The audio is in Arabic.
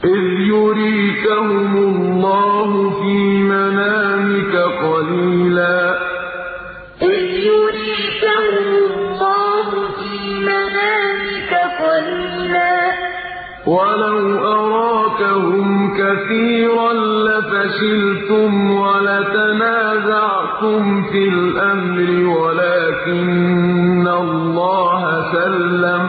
إِذْ يُرِيكَهُمُ اللَّهُ فِي مَنَامِكَ قَلِيلًا ۖ وَلَوْ أَرَاكَهُمْ كَثِيرًا لَّفَشِلْتُمْ وَلَتَنَازَعْتُمْ فِي الْأَمْرِ وَلَٰكِنَّ اللَّهَ سَلَّمَ ۗ